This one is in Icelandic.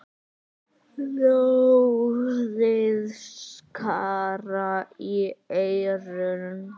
Hljóðið skar í eyrun.